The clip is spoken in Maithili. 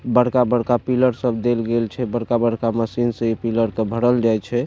बड़का-बड़का पिलर सब देल गेल छै बड़का-बड़का मशीन से इ पिलर के भरल जाय छै।